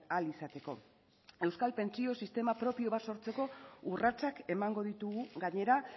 ahal izateko euskal pentsio sistema propio bat sortzeko urratsak emango ditugu gainera